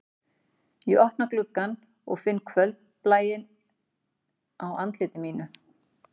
Ég opna gluggann og finn kvöldblæinn á andliti mínu